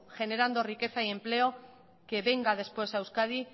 generando riqueza y empleo que venga después a euskadi